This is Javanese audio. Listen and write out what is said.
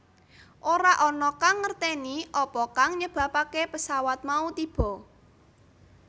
Ora ana kang ngerteni apa kang nyebabake pesawat mau tiba